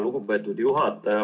Lugupeetud juhataja!